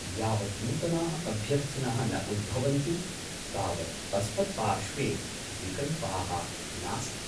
यावत् नूतनाः अभ्यर्थिनः न उद्भवन्ति तावत् अस्मत्पार्श्वे विकल्पाः नास्ति।